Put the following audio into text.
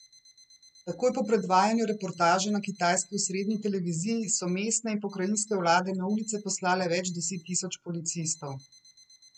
Takoj po predvajanju reportaže na kitajski osrednji televiziji so mestne in pokrajinske vlade na ulice poslale več deset tisoč policistov.